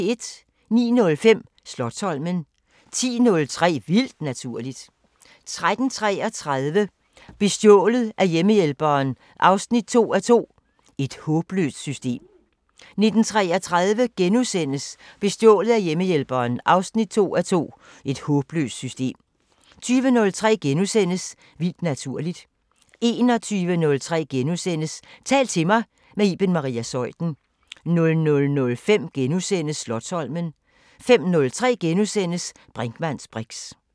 09:05: Slotsholmen 10:03: Vildt naturligt 13:33: Bestjålet af hjemmehjælperen 2:2 – "Et håbløst system" 19:33: Bestjålet af hjemmehjælperen 2:2 – "Et håbløst system" * 20:03: Vildt naturligt * 21:03: Tal til mig – med Iben Maria Zeuthen * 00:05: Slotsholmen * 05:03: Brinkmanns briks *